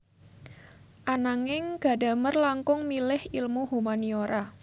Ananging Gadamer langkung milih ilmu humaniora